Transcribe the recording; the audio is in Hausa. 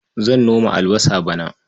Zan noma albasa bana.